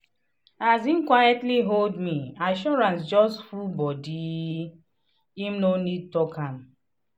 as him quitely hold me assurance just full body him no need talk am.